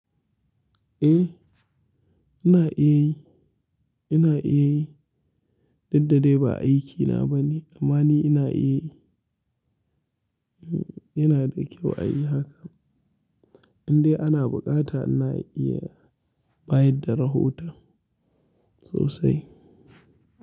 Eh ina iya yi. Ina iya yi. Daddade ba aiki na bane amma ni ina iya yi. Yana da kyau a yi haka. Indai ana buƙata ina iya bayar da rahoton sosai.